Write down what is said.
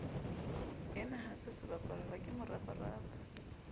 enaha se sebapallwa ke moraparapa